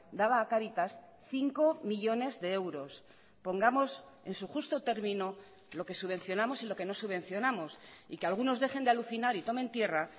daba a cáritas cinco millónes de euros pongamos en su justo término lo que subvencionamos y lo que no subvencionamos y que algunos dejen de alucinar y tomen tierra